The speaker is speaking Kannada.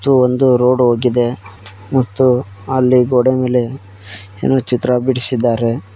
ಗು ಒಂದು ರೋಡ್ ಹೋಗಿದೆ ಮತ್ತು ಅಲ್ಲಿ ಗೋಡೆ ಮೇಲೆ ಏನೋ ಚಿತ್ರ ಬಿಡಿಸಿದಾರೆ.